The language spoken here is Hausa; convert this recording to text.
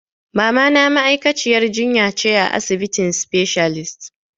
Mamana ma'aikaciyar jinya ce a asibitin specialist.